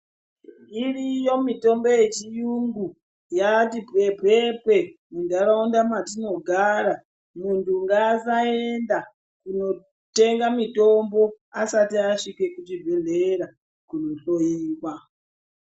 Iriyo mitombo yechiyungu yati pfepfepfe muntaraunda mwatinogara. Muntu ngasaenda kunotenga mitombo asati asvike kuchibhedhlera kunohoiwa.